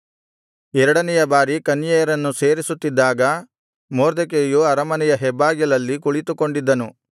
ಎರಡನೆಯ ಬಾರಿ ಕನ್ಯೆಯರನ್ನು ಸೇರಿಸುತ್ತಿದ್ದಾಗ ಮೊರ್ದೆಕೈಯು ಅರಮನೆಯ ಹೆಬ್ಬಾಗಿಲಲ್ಲಿ ಕುಳಿತುಕೊಂಡಿದ್ದನು